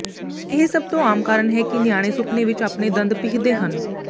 ਇਹ ਸਭ ਤੋਂ ਆਮ ਕਾਰਨ ਹੈ ਕਿ ਨਿਆਣੇ ਸੁਪਨੇ ਵਿਚ ਆਪਣੇ ਦੰਦ ਪੀਹਦੇ ਹਨ